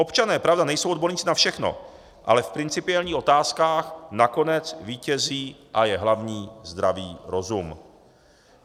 Občané, pravda, nejsou odborníci na všechno, ale v principiálních otázkách nakonec vítězí a je hlavní zdravý rozum.